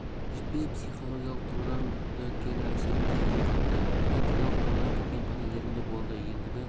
жетпей психологиялық тұрғыдан да кері әсерін тигізіп жатты тактикалық тұрғыдан кеткен қателерім де болды ендігі